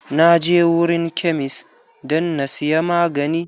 Na je wurin kemist dan na siya magani.